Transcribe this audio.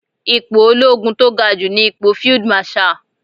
Ipò olóogun tó ga jù ní ipò Field Marshal.